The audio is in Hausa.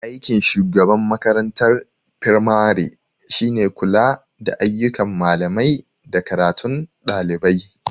Aikin shugaban makarantar fimare shine kula da ayyukan malamai da karatun ɗalibai.